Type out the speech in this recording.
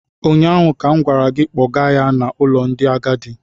ụnyaahụ ka m gwara gị, kpọga ya n’ụlọ ndị agadi!